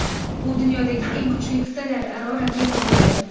U dunyodagi eng kuchli qit’alararo raketa bo‘ladi.